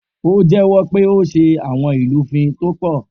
O jèwõ pé ó sé awõn ìlúfin tó põ